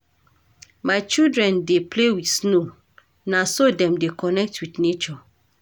My children dey play wit snow, na so dem dey connect wit nature.